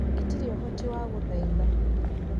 Itirĩ ũhoti wa gũthaitha